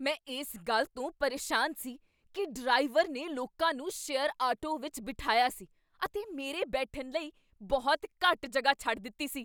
ਮੈਂ ਇਸ ਗੱਲ ਤੋਂ ਪਰੇਸ਼ਾਨ ਸੀ ਕੀ ਡਰਾਈਵਰ ਨੇ ਲੋਕਾਂ ਨੂੰ ਸ਼ੇਅਰ ਆਟੋ ਵਿੱਚ ਬਿਠਾਇਆ ਸੀ ਅਤੇ ਮੇਰੇ ਬੈਠਣ ਲਈ ਬਹੁਤ ਘੱਟ ਜਗ੍ਹਾ ਛੱਡ ਦਿੱਤੀ ਸੀ।